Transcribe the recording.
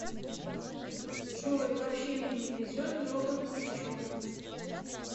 джой вообще мне не везет робот не в чем